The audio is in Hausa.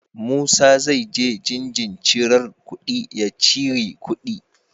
Musa zai je jinjin cirar kuɗi ya ciri kuɗi